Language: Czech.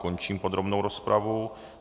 Končím podrobnou rozpravu.